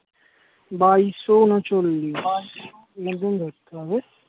বাইশ উনচল্লিশ এখন থেকে ধরতে হবে